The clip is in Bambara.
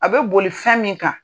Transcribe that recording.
A bɛ boli fɛn min kan.